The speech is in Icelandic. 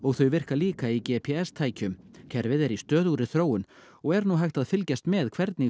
þau virka líka í g p s tækjum kerfið er í stöðugri þróun og er nú hægt að fylgjast með hvernig